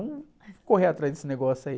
correr atrás desse negócio aí.